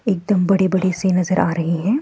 एकदम बड़े-बड़े से नजर आ रहे हैं।